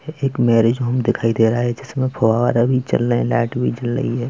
एक marriage home दिखाई दे रहा है जिसमें फुहारे भी चल रहे हैं लाइट भी जल रही है।